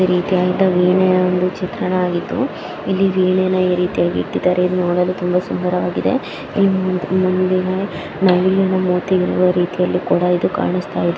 ಈ ರೀತಿಯಾಗಿದ್ದ ವೀಣೆಯನವನ್ನು ಚಿತ್ರಣ ಆಗಿದ್ದು. ಇಲ್ಲಿ ವೀಣೇನ ಈ ರೀತಿಯಾಗಿ ಇಟ್ಟಿದ್ದಾರೆ. ಇದು ನೋಡಲು ತುಂಬಾ ಸುಂದರವಾಗಿದೆ. ಇಲ್ಲಿನ ನವಿಲಿನ ಮೂತಿಯ ಯಂಬ ರೀತಿಯಲ್ಲಿ ಕೂಡ ಇದು ಕಾಣಸ್ತಾಯ್ಡ್ --